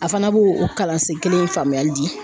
A fana b'o o kalansen kelen in faamuyali di